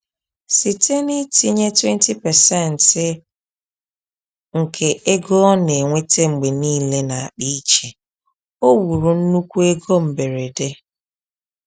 Site n’itinye 20% nke ego o na-enweta mgbe niile n’akpa iche, o wuru nnukwu ego mberede.